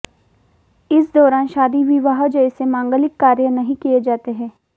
इस दौरान शादी विवाह जैसे मांगलिक कार्य नहीं किये जाते हैं